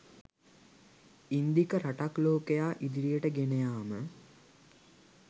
ඉන්දික රටක් ලෝකයා ඉදිරියට ගෙන යාම